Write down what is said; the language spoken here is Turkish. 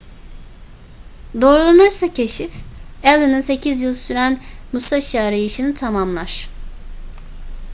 doğrulanırsa keşif allen'ın sekiz yıl süren musashi arayışını tamamlar